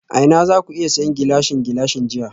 A ina zaku iya siyan Gilashin Gilashin jiya?